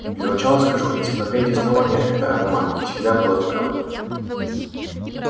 для начала скажу энциклопедия основания это обман и всегда была таковым